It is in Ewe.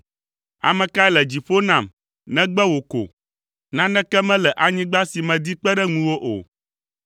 Ame kae le dziƒo nam, negbe wò ko? Naneke mele anyigba si medi kpe ɖe ŋuwò o.